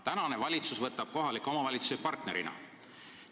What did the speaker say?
Tänane valitsus võtab kohalikke omavalitsusi partnerina.